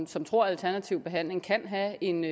som tror at alternativ behandling kan have en